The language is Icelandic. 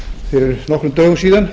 fyrir nokkrum dögum síðan